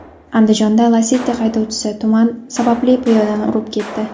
Andijonda Lacetti haydovchisi tuman sababli piyodani urib ketdi.